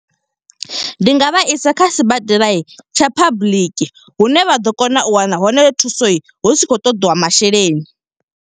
Ndi nga vha isa kha sibadela tsha public, hune vha ḓo kona u wana hone thuso hu si khou ṱoḓiwa masheleni.